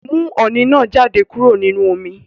Mú oní náá jáde kúrò nínú omi